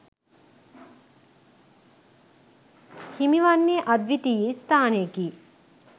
හිමිවන්නේ අද්විතීය ස්ථානයකි